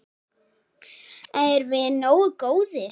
Erum við nógu góðir?